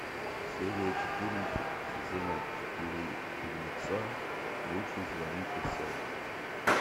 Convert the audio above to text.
серия четырнадцать сезона четыре фильмеца лучше звоните солу